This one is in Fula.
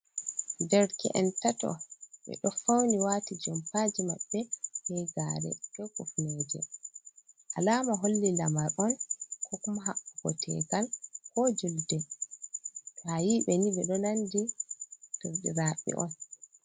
Dereke’en tato be do fauni wati jompaji mabbe be gare be kufneje, alama holli lamar on ko hapodal tegal ko julde, ba'ayi be ni bedo nandi derdiraɓe on.